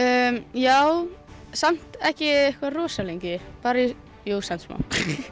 já samt ekki eitthvað rosa lengi jú samt smá